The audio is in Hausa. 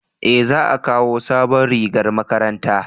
eh za a kawo sabon rigar makaranta